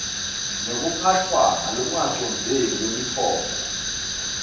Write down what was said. nekuphatfwa ngalokungacondzeki kwemitfombo